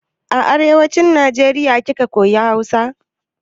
A arewacin Najeriya kika koya Hausa?